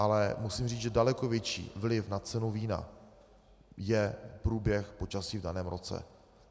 Ale musím říct, že daleko větší vliv na cenu vína má průběh počasí v daném roce.